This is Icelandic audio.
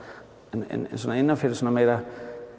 en innan fyrir svona meira